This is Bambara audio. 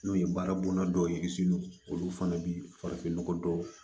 N'o ye baara bonda dɔw yiri olu fana bi farafinnɔgɔ dɔw